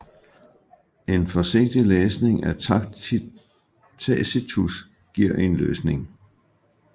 En forsigtig læsning af Tacitus giver en løsning